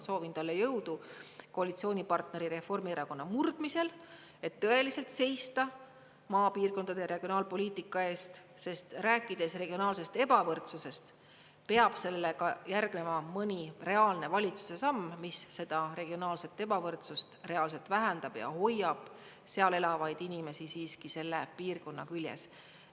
Soovin talle jõudu koalitsioonipartneri Reformierakonna murdmisel, et tõeliselt seista maapiirkondade regionaalpoliitika eest, sest rääkides regionaalsest ebavõrdsusest, peab sellega järgnema ka mõni reaalne valitsuse samm, mis seda regionaalset ebavõrdsust reaalselt vähendab ja hoiab seal elavaid inimesi siiski selle piirkonna küljes.